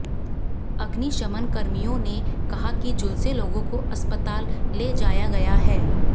अग्निशमन कर्मियों ने कहा कि झुलसे लोगों को अस्तपताल ले जाया गया है